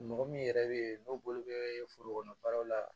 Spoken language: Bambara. Mɔgɔ min yɛrɛ bɛ yen n'o bolo bɛ foro kɔnɔ baara la